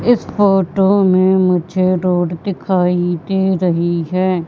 इस फोटो में मुझे रोड दिखाई दे रही है।